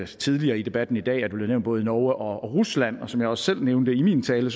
tidligere i debatten i dag både norge og rusland og som jeg også selv nævnte i min tale